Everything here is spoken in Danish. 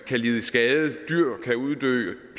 kan lide skade dyr kan uddø